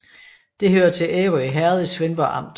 Det hørte til Ærø Herred i Svendborg Amt